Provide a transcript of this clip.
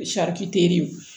teriw